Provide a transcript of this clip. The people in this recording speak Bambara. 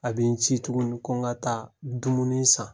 A bɛ n ci tuguni ko n ka taa dumuni san.